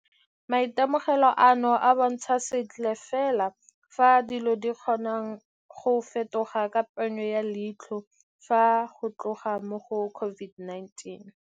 Maitemogelo ano a bontsha sentle fela ka fao dilo di kgonang go fetoga ka ponyo ya leitlho fa go tla mo go COVID-19.